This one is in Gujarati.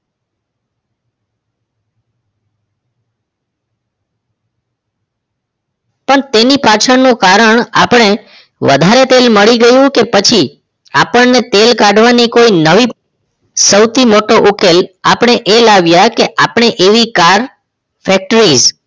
પણ તેની પાછળનું કારણ આપણે વધારે તેલ મળી ગયું કે પછી આપણને તેલ કાઢવાની કોઈ નવી સૌથી મોટો ઉકેલ આપણે એ લાવ્યા કે આપણે એવી car factories